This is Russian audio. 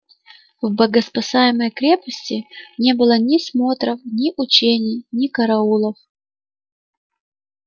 в богоспасаемой крепости не было ни смотров ни учений ни караулов